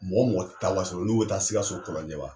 Mɔgɔ mɔgɔ ti wasolon n'u be taa sikaso kɔlɔnjɛba